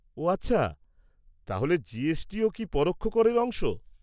ও আচ্ছা। তাহলে জীএসটিও কি পরোক্ষ করের অংশ?